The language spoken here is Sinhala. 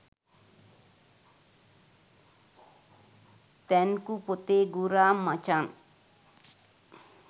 තැන්කූ පොතේ ගුරා මචන්